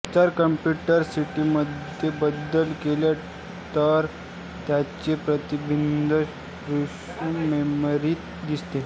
जर कंप्युटर सिस्टीममध्ये बदल केले टर त्याचे प्रतिबिंब फ्लॅश मेमरीत दिसते